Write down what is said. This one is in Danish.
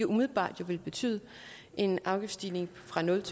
umiddelbart ville betyde en afgiftsstigning fra nul